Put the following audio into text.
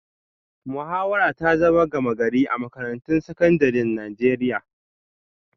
Muhawara ta zama gama-gari a makarantun sakandaren Najeriya